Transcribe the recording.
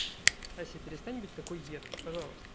ася перестань быть такой едкой пожалуйста